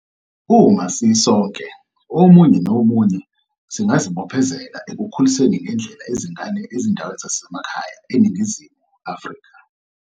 .uma sisonke, omunye nomunye, singazibophezela ekukhuliseni ngendlela izingane ezindaweni zasemakhaya eNingizimu Afrika.